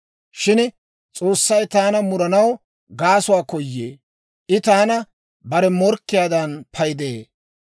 Shin S'oossay taana muranaw gaasuwaa koyee; I taana bare morkkiyaadan paydee.